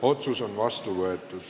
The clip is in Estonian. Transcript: Otsus on vastu võetud.